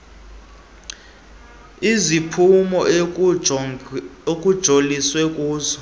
iziphumo ekujoliswe kuzo